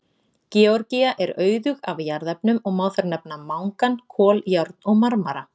Georgía er auðug af jarðefnum og má þar nefna mangan, kol, járn og marmara.